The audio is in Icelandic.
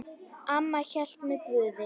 Amma hélt með Guði.